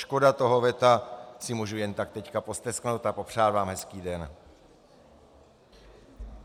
Škoda toho veta, si mohu jen tak teď postesknout a popřát vám hezký den.